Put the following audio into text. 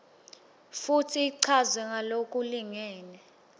futsi ichazwe ngalokulingene